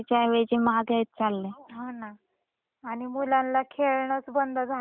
आणि मुलांना खेळणच बंद झाल होत बाहेर पडण बंद झालं होत.